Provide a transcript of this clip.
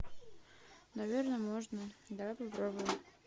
наверно можно давай попробуем